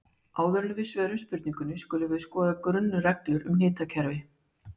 Áður en við svörum spurningunni skulum við skoða grunnreglur um hnitakerfi.